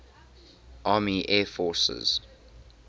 army air forces